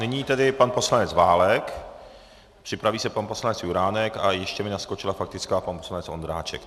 Nyní tedy pan poslanec Válek, připraví se pan poslanec Juránek a ještě mi naskočila faktická pan poslanec Ondráček.